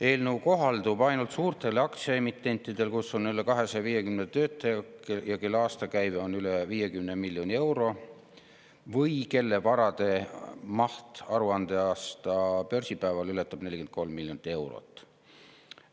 Eelnõu kohaldub ainult suurtele aktsiaemitentidele, kus on üle 250 töötaja ja kelle aastakäive on üle 50 miljoni euro või kelle varade maht aruandeaasta päeval ületab 43 miljonit eurot.